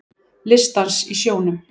Listdans í sjónum